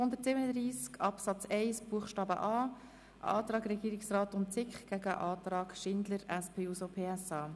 wenn wir danach über die Streichung abstimmen, wissen wir, was dazu die Alternative wäre.